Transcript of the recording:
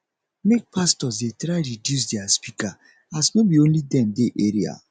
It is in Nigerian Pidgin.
make pastors dey try reduce dia speaker as no be only dem dey area